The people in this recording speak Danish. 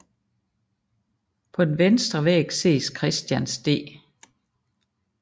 På den vestre væg ses Christians d